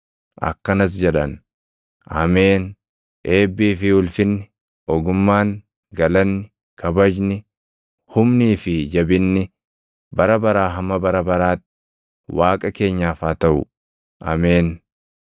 akkanas jedhan: “Ameen! Eebbii fi ulfinni, ogummaan, galanni, kabajni, humnii fi jabinni, bara baraa hamma bara baraatti Waaqa keenyaaf haa taʼu. Ameen!”